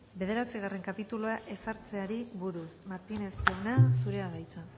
bederatzigarren kapitulua ezartzeari buruz martínez jauna zurea da hitza